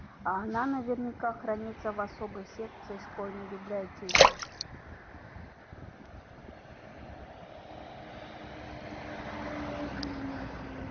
а она наверняка хранится в особой секции школьной библиотеки